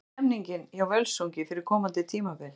Hvernig er stemningin hjá Völsungi fyrir komandi tímabil?